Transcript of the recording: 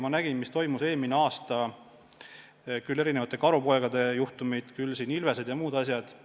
Ma nägin, mis toimus eelmine aasta – küll karupoegade juhtumid, küll ilvesed ja muud asjad.